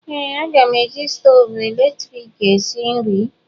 Ee, m ga-eji stoovu eletrik esi nri.